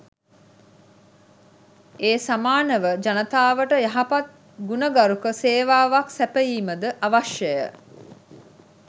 ඒ සමානව ජනතාවට යහපත් ගුණගරුක සේවාවක් සැපයීම ද අවශ්‍යය.